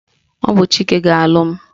Ọ bụ Chike ga-alụ m